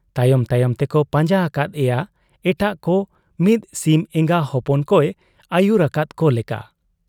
ᱛᱟᱭᱚᱢ ᱛᱟᱭᱚᱢ ᱛᱮᱠᱚ ᱯᱟᱸᱡᱟ ᱟᱠᱟᱫ ᱮᱭᱟ ᱮᱴᱟᱜ ᱠᱚ ᱢᱤᱫ ᱥᱤᱢ ᱮᱸᱜᱟ ᱦᱚᱯᱚᱱ ᱠᱚᱭ ᱟᱹᱭᱩᱨ ᱟᱠᱟᱫ ᱠᱚ ᱞᱮᱠᱟ ᱾